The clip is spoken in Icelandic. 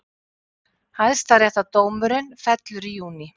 Hæstaréttardómurinn fellur í júní